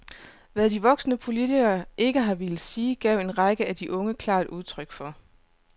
Hvad de voksne politikere ikke har villet sige, gav en række af de unge klart udtryk for.